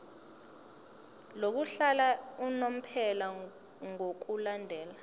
lokuhlala unomphela ngokulandela